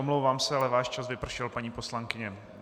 Omlouvám se, ale váš čas vypršel, paní poslankyně.